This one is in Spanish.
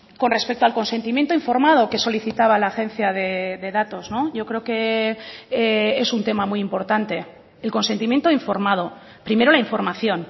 con respecto al consentimiento informado que solicitaba la agencia de datos yo creo que es un tema muy importante el consentimiento informado primero la información